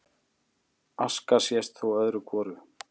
Aska sést þó öðru hvoru